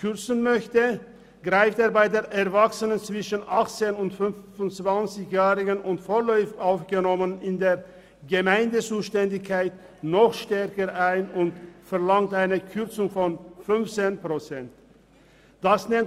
kürzen möchte, greift er bei Erwachsenen zwischen 18 und 25 Jahren und vorläufig Aufgenommenen in der Gemeindezuständigkeit noch stärker ein und verlangt eine Kürzung von 15 Prozent.